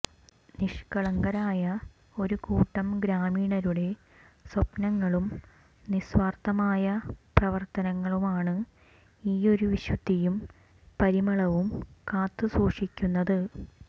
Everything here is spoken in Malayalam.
നിഷ്കളങ്കരായ ഒരു കൂട്ടം ഗ്രാമീണരുടെ സ്വപ്നങ്ങളും നിസ്വാര്ത്ഥമായ പ്രവര്ത്തനങ്ങളുമാണ് ഈ ഒരു വിശുദ്ധിയും പരിമളവും കാത്തു സൂക്ഷിക്കുന്നത്